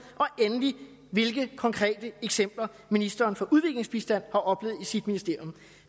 og endelig hvilke konkrete eksempler ministeren for udviklingsbistand har oplevet i sit ministerium